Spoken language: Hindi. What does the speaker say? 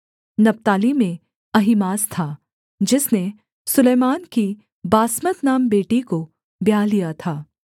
नप्ताली में अहीमास था जिसने सुलैमान की बासमत नाम बेटी को ब्याह लिया था